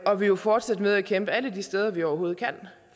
og vi vil fortsætte med at kæmpe alle de steder vi overhovedet kan